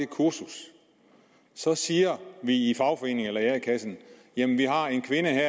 kursus så siger vi i fagforeningen eller a kassen at vi har en kvinde